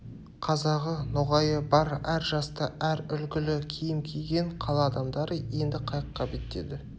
қазағы ноғайы бар әр жасты әр үлгілі киім киген қала адамдары енді қайыққа беттеді